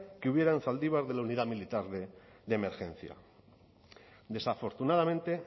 que hubiera en zaldibar de la unidad militar de emergencias desafortunadamente